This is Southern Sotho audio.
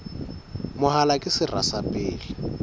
mahola ke sera sa pele